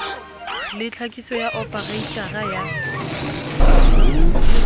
le tlhakiso ya opareitara ya